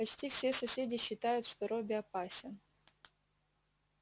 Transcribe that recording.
почти все соседи считают что робби опасен